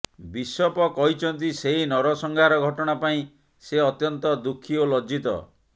bishop କହିଛନ୍ତି ସେହି ନରସଂହାର ଘଟଣା ପାଇଁ ସେ ଅତ୍ୟନ୍ତ ଦୁଃଖୀ ଏବଂ ଲଜ୍ଜିତ